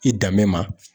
I danbe ma